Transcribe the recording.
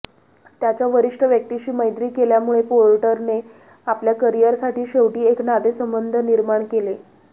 त्याच्या वरिष्ठ व्यक्तीशी मैत्री केल्यामुळे पोर्टरने आपल्या करिअरसाठी शेवटी एक नातेसंबंध निर्माण केले